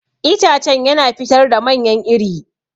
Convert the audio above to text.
Itacen yana fitar da manyan iri.